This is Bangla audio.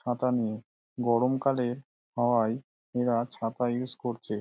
ছাতা নিয়ে গরম কালে হওয়ায় এরা ছাতা ইউজ করছে ।